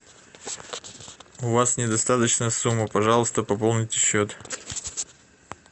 у вас недостаточная сумма пожалуйста пополните счет